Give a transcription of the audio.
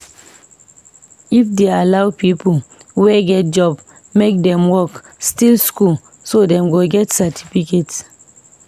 If dey allow people wey get job make Dem work still school so Dem go get certificate